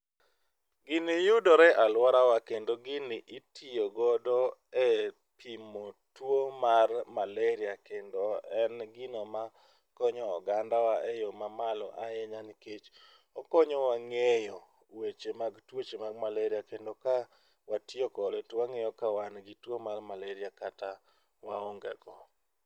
Gini yudore e aluorawa kendo gini ityo godo e pimo tuo mar malaria kendo en gino ma konyo oganda wa eyoo mamalo ahinya nikech okonyo wa ng'eyo weche mag tuoche mag malaria kendo ka watiyo kode to wangeyo ka wan gi tuo mar malaria kata waonge go